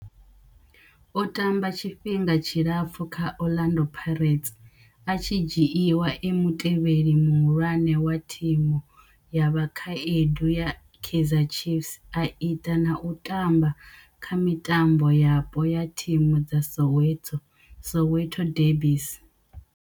O tamba tshifhinga tshilapfhu kha Orlando Pirates, a tshi dzhiiwa e mutevheli muhulwane wa thimu ya vhakhaedu ya Kaizer Chiefs, a ita na u tamba kha mitambo yapo ya thimu dza Soweto Soweto derbies.